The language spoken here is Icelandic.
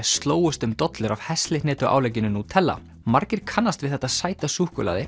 slógust um dollur af heslihnetuálegginu Nutella margir kannast við þetta sæta súkkulaði